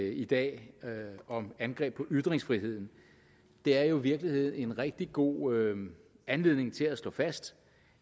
i dag om angreb på ytringsfriheden er jo i virkeligheden en rigtig god anledning til at slå fast